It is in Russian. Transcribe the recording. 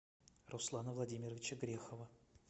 руслана владимировича грехова